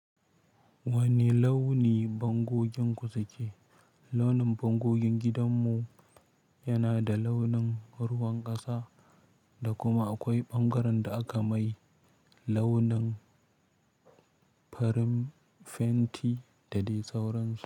Wani launi bangoginku su ke. Launin bangogin gidanmu yana da launin ruwan ƙasa da kuma akwai ɓangaren da aka mai launin farin fenti da dai sauransu.